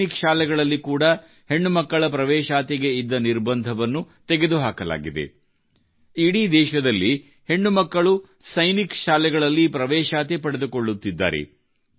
ದೇಶದ ಸೈನಿಕ್ ಶಾಲೆಗಳಲ್ಲಿ ಕೂಡಾ ಹೆಣ್ಣುಮಕ್ಕಳ ಪ್ರವೇಶಾತಿಗೆ ಇದ್ದ ನಿರ್ಬಂಧವನ್ನು ತೆಗೆದುಹಾಕಲಾಗಿದೆ ಇಡೀ ದೇಶದಲ್ಲಿ ಹೆಣ್ಣು ಮಕ್ಕಳು ಸೈನಿಕ್ ಶಾಲೆಗಳಲ್ಲಿ ಪ್ರವೇಶಾತಿ ಪಡೆದುಕೊಳ್ಳುತ್ತಿದ್ದಾರೆ